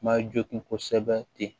Ma jogin kosɛbɛ ten